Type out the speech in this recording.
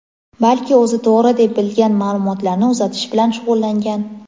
balki o‘zi to‘g‘ri deb bilgan ma’lumotlarni uzatish bilan shug‘ullangan.